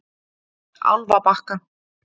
Álfabakka